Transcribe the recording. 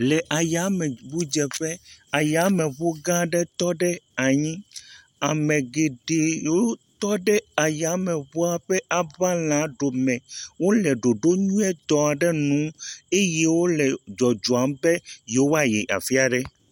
Le yameŋudzeƒe, yameŋu gã aɖe tɔ ɖe anyi, ame geɖe wotɔ ɖe yameŋua ƒe yaŋalã ɖome. Wole ɖoɖo nyuitɔ ɖe ŋu eye wole dzɔdzɔm be yewoayi afi aɖe.